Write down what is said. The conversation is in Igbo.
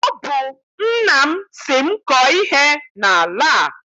Ọ bụ nna m sị m kọọ ihe n'ala a.